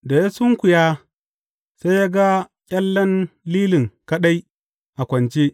Da ya sunkuya, sai ya ga ƙyallayen lilin kaɗai a kwance.